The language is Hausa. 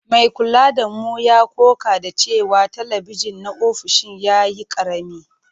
Mai kula da mu ya ƙoƙa da cewa talabijin na ofishin ya yi ƙarami.